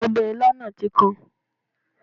Ọbẹ̀ ilá náà tí kan